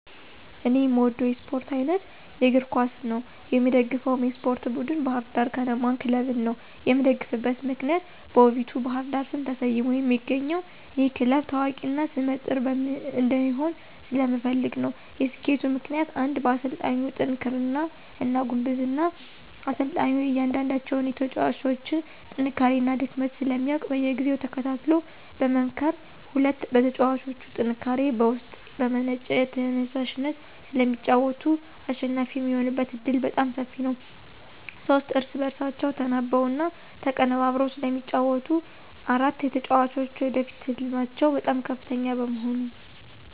እኔ የምወደው የስፓርት አይነት የእግር ኳስ ነው። የምደግፈውም የስፓርት ቡድን ባህር ዳር ከነማ ክለብን ነው። የምደግፍበት ምክንያት በውቢቷ ባህር ዳር ስም ተሰይሞ የሚገኘው ይህ ክለብ ታዋቂ እና ሰመ ጥር እንዲሆን ስለምፈልግ ነው። የሰኬቱ ምክንያቶች ፩) በአሰልጣኙ ጥንክርና እና ጉብዝና፦ አሰልጣኙ የእያንዳንዳቸውን የተጫዋጮች ጥንካሬ እና ድክመት ስለሚያውቅ በየጊዜው ተከታትሎ በመምከር። ፪) በተጫዋቾቹ ጥንካሬ፦ ከውስጥ በመነጨ ተየሳሽነት ስለሚጫወቱ አሸናፊ የሚሆኑበት ዕድል በጣም ሰፊ ነው። ፫) እርስ በእርሳቸው ተናበው እና ተቀነበብረው ስለሚጫወቱ። ፬) የተጫዋጮች የወደፊት ህልማቸው በጣም ከፍተኛ በመሆኑ።